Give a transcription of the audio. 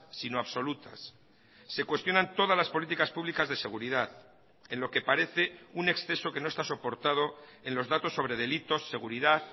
sino absolutas se cuestionan todas las políticas públicas de seguridad en lo que parece un exceso que no está soportado en los datos sobre delitos seguridad